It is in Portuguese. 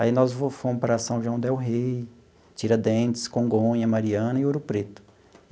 Aí, nós fomos para São João Del Rei, Tiradentes, Congonha, Mariana e Ouro Preto.